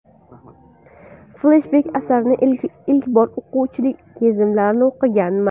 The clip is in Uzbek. Fleshbek Asarni ilk bor o‘quvchilik kezlarim o‘qiganman.